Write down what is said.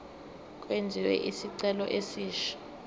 kwenziwe isicelo esisha